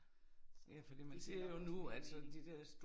Så det giver også fin mening